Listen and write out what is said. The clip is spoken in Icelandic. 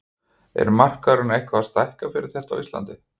Er markaðurinn eitthvað að stækka fyrir þetta á Íslandi?